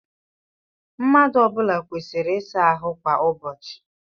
Mmadụ ọ bụla kwesịrị ịsa ahụ kwa ụbọchị.